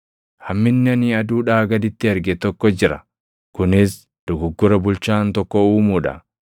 Hamminni ani aduudhaa gaditti arge tokko jira; kunis dogoggora bulchaan tokko uumuu dha.